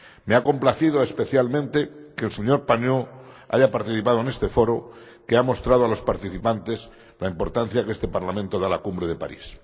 Me ha complacido especialmente que el señor Pargneaux haya participado en este foro, que ha mostrado a los participantes la importancia que este Parlamento da a la Cumbre de París.